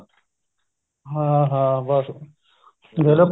ਹਾਂ ਹਾਂ ਬੱਸ ਦੇਖ ਲੋ